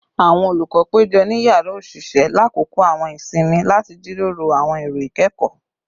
Awọn olukọ pejọ ni yara oṣiṣẹ lakoko awọn isinmi lati jiroro awọn ero ikẹkọ